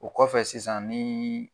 O kɔfɛ sisan nin